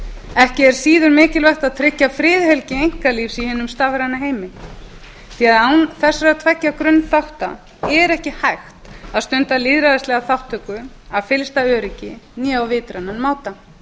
ekki er síður mikilvægt að tryggja friðhelgi einkalífs í hinum stafræna heimi því að án þessara tveggja grunnþátta er ekki hægt að stunda lýðræðislega þátttöku af fyllsta öryggi né á vitrænan máta